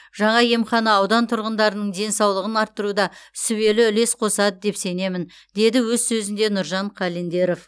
жаңа емхана аудан тұрғындарының денсалығын арттыруда сүбелі үлес қосады деп сенемін деді өз сөзінде нұржан қалендеров